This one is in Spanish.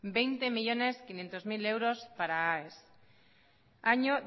veinte millónes quinientos mil euros para aes año